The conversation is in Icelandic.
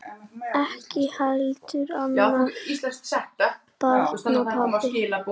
Ekki heldur annarra barna pabbi.